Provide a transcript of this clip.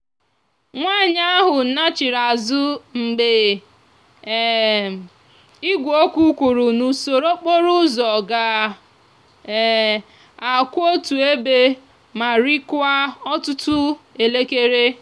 nwanyi ahú nnachiri azú mgbe um igweokwu kwuru na usoro okporo úzò ga um akwú otu ebe ma rikwaa òtútú elekere.